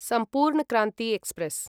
सम्पूर्ण क्रान्ति एक्स्प्रेस्